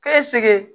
Kɛ segu